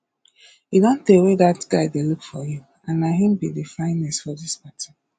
e don tey wey dat guy dey look you and na him be the finest for dis party